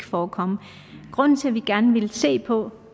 forekomme grunden til at vi gerne vil se på